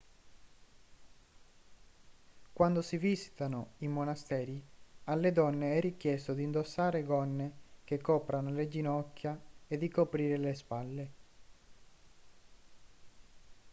quando si visitano i monasteri alle donne è richiesto di indossare gonne che coprano le ginocchia e di coprire le spalle